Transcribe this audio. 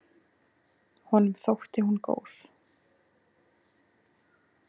Honum þótti hún góð.